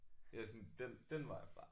Jeg er sådan den den vej fra